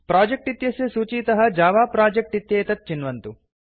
project इत्यस्य सूचीतः जव प्रोजेक्ट् इत्येतत् चिन्वन्तु